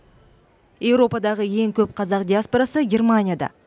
еуропадағы ең көп қазақ диаспорасы германияда